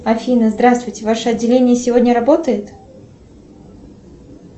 афина здравствуйте ваше отделение сегодня работает